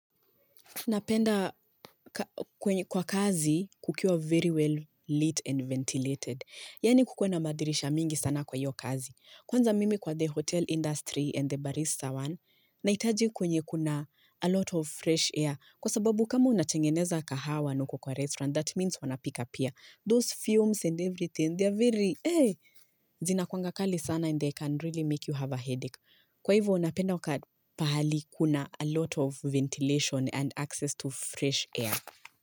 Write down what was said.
Napenda kwa kazi kukiwa very well lit and ventilated. Yaani kukuwe na madirisha mingi sana kwa hiyo kazi. Kwanza mimi kwa the hotel industry and the barista one, nahitaji kwenye kuna a lot of fresh air. Kwa sababu kama unatengeneza kahawa na uko kwa restaurant, that means wanapika pia Those fumes and everything, they are very, eh, zina kuwanga kali sana and they can really make you have a headache. Kwa hivyo, ninapenda wakati pahali kuna a lot of ventilation and access to fresh air.